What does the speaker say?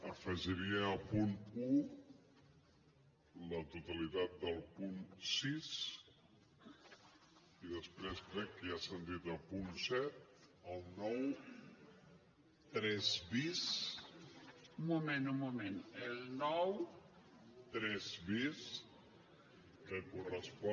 afegiria el punt un la totalitat del punt sis i després crec que ja s’ha dit el punt set el noranta tres bis que correspon